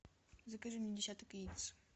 закажи мне десяток яиц